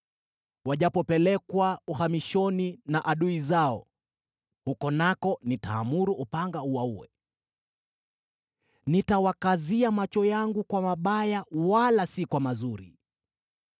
Wajapopelekwa uhamishoni na adui zao, huko nako nitaamuru upanga uwaue. Nitawakazia macho yangu kwa mabaya wala si kwa mazuri.”